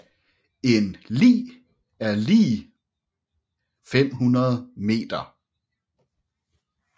En li er lig 500 meter